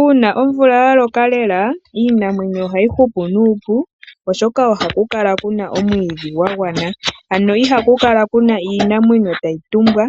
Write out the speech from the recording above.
Uuna omvula yaloka lela, iinamwenyo ohayi hupu nuupu oshoka ohapu kala puna omwiidhi gwagwana nawa. Ihapu kala puna iinamwenyo tayi tumbwa